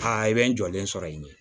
Aa i bɛ n jɔlen sɔrɔ yen de